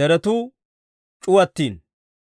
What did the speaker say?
deretuu c'uwattiino.